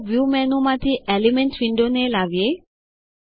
ચાલો વ્યૂ menuમાંથી એલિમેન્ટ્સ windowને લાવીએ